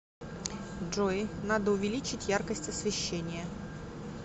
джой надо увеличить яркость освещения